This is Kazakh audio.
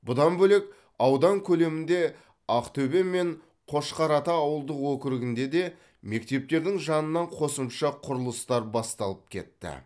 бұдан бөлек аудан көлемінде ақтөбе мен қошқарата ауылдық округінде де мектептердің жанынан қосымша құрылыстар басталып кетті